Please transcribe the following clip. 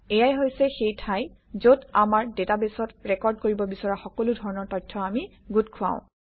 এয়াই হৈছে সেই ঠাই যত আমাৰ ডাটাবেছত ৰেকৰ্ড কৰিব বিচৰা সকলো ধৰণৰ তথ্য আমি গোট খুৱাওঁ